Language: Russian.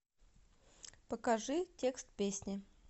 покажи текст песни